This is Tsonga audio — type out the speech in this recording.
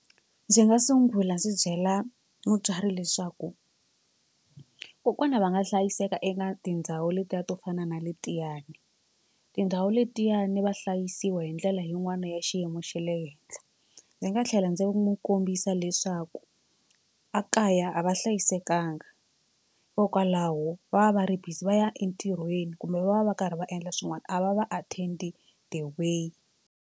Ndzi nga sungula ndzi byela mutswari leswaku kokwana va nga hlayiseka eka tindhawu letiya to fana na letiyani tindhawu letiya ni va hlayisiwa hi ndlela yin'wana ya xiyimo xa le henhla. Ndzi nga tlhela ndzi n'wi kombisa leswaku a kaya a va hlayisekanga hikokwalaho va va va ri busy va ya entirhweni kumbe va va va karhi va endla swin'wana a va va attend the way.